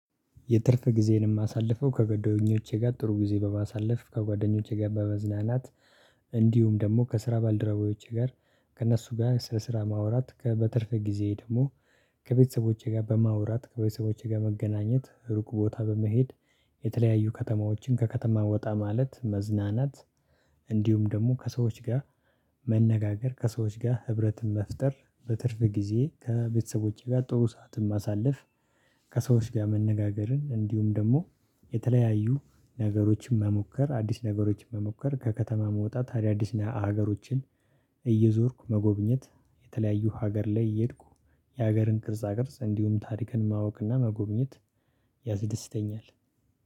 የትርፍ ጊዜዬኝ የማሳልፈው ከጎደኞቼ ጋር ጥሩ ጊዜ በማሳለፍ ከጓደኞቼ ጋር በመዝናናት። እንዲሁም ደግሞ ከስራ ባልደረቦቼ ጋር ከእነሱ ጋር ስለ ስራ ማውራት በትርፍ ጊዜዬ ደግሞ ከቤተሰቦቼ ጋር በማውራት ከቤተሰቦቼ ጋር መገናኘት ሩቁ ቦታ በመሄድ የተለያዩ ከተማዎችን ከከተማ ወጣ ማለት መዝናናት። እንዲሁም ደግሞ ከሰዎች ጋር መነጋገር ከሰዎች ጋር ህብረትን መፍጠር በትርፍ ጊዜ ከቤተሰቦቼ ጋር ጥሩ ሰዓትን ማሳለፍ። ከሰዎች ጋር መነጋገርን እንዲሁም ደግሞ የተለያዩ ነገሮችን መሞከር አዲስ ነገሮችን መሞከር ከከተማ መውጣት አዳዲስ አገሮችን። እየዞርኩ መጎብኘት የተለያዩ ሀገር ላይ እየሄድኩ የሀገርን ቅርጻ ቅርጽ እንዲሁም ታሪክን ማወቅና መጎብኘት ያዝድስተኛል